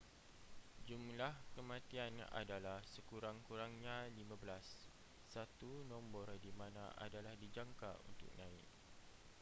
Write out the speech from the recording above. jumlah kematian adalah sekurang-kurangnya 15 satu nombor di mana adalah dijangka untuk naik